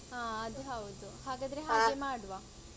ಅಹ್ ಅದ್ ಹೌದು ಹಾಗಾದ್ರೆ ಹಾಗೆ ಮಾಡುವ.